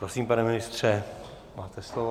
Prosím, pane ministře, máte slovo.